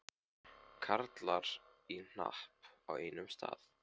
Karlar í hnapp á einum stað.